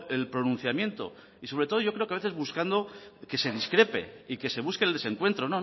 el pronunciamiento y sobre todo yo creo que a veces buscando que se discrepe y que se busque el desencuentro